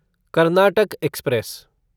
Karnataka express